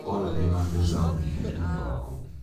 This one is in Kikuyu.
wona ndĩ na mbeca ũnjĩtie thiirĩ waku